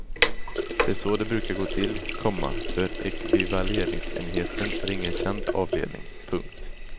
Det är så det brukar gå till, komma för ekvivaleringsenheten är ingen känd avdelning. punkt